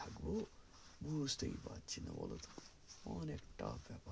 হা গো বুজতেই পারছি না বলতো অনেক টাকা